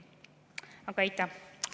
Aga aitäh!